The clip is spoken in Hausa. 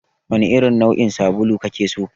Wane irin nau'in sabulu kake so?